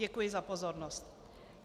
Děkuji za pozornost.